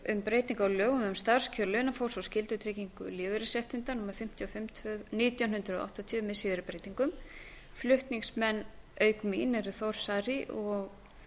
um breytingu á lögum um starfskjör launafólks og skyldutryggingu lífeyrisréttinda númer fimmtíu og fimm nítján hundruð áttatíu með síðari breytingum flutningsmenn auk mín eru þór saari og